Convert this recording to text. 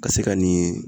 Ka se ka nin